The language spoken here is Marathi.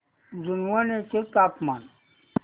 जुनवणे चे तापमान